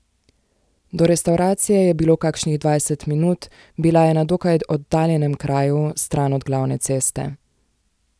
Do restavracije je bilo kakšnih dvajset minut, bila je na dokaj oddaljenem kraju, stran od glavne ceste.